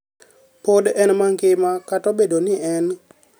pod en mangima kata obedo ni en